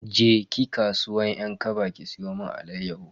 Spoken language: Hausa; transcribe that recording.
Je ki kasuwan 'yan kaba ki siyo mun alayyahu.